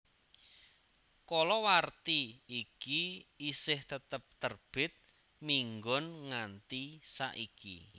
Kalawarti iki isih tetep terbit minggon nganti saiki